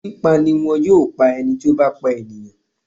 Pípa ni wọn yóò pá ẹni tí ó bá pa ènìyàn.